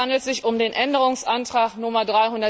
Es handelt sich um den Änderungsantrag Nr.